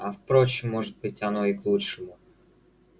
а впрочем может оно бы и к лучшему